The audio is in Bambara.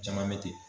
Caman bɛ ten